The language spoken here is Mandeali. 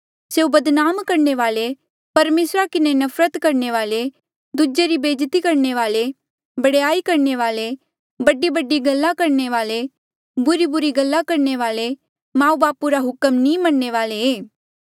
स्यों बदनाम करणे वाले परमेसरा किन्हें नफरत करणे वाले दूजे री बेज्जती करणे वाले बडयाई करणे वाले बडीबडी गल्ला करणे वाले बुरीबुरी गल्ला करणे वाले माऊ बापू रा हुक्म नी मनणे वाले ऐें